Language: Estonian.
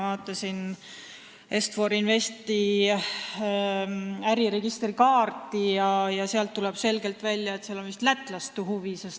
Ma vaatasin Est-For Investi äriregistri kannet, kust tuleb selgelt välja, et on olemas vist lätlaste huvi.